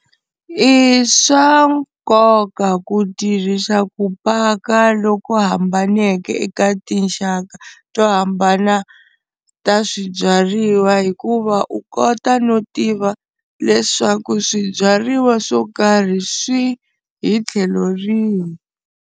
I swa nkoka ku tirhisa ku paka loku hambaneke eka tinxaka to hambana ta swibyariwa, hikuva u kota no tiva leswaku swibyariwa swo karhi swi hi tlhelo rihi.